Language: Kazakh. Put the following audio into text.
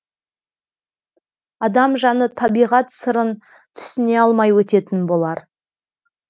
адам жаны табиғат сырын түсіне алмай өтетін болар